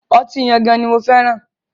Ọtí Yangan ni mo fẹ́ràn.